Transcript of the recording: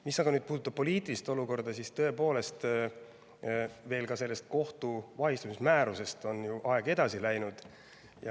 Mis aga puudutab poliitilist olukorda, siis tõepoolest, sellest kohtu vahistamismäärusest on ju aeg edasi läinud.